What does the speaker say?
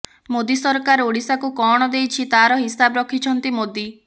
ମୋଦି ସରକାର ଓଡିଶାକୁ କଣ ଦେଇଛି ତାର ହିସାବ ରଖିଛନ୍ତି ମୋଦି